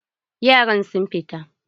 Yaran sun fita.